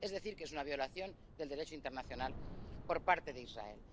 Es decir, que es una violación del Derecho internacional por parte de Israel.